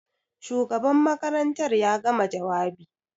Shugaban makarantar ya gama jawabi?